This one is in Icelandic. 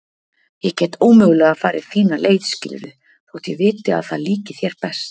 Ég get ómögulega farið þína leið skilurðu þótt ég viti að það líki þér best.